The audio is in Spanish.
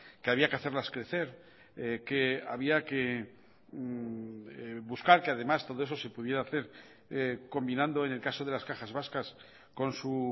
que había que hacerlas crecer que había que buscar que además todo eso se pudiera hacer combinando en el caso de las cajas vascas con su